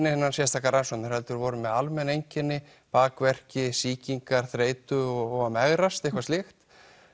sérstakar rannsóknir heldur voru þau með almenn einkenni bakverki sýkingar þreytu og að megrast eða eitthvað slíkt